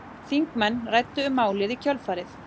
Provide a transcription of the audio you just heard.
Þingmenn ræddu um málið í kjölfarið